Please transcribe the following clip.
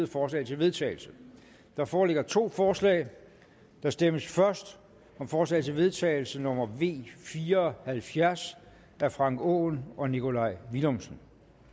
forslag til vedtagelse der foreligger to forslag der stemmes først om forslag til vedtagelse nummer v fire og halvfjerds af frank aaen og nikolaj villumsen